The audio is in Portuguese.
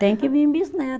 Tem que vir bisneto.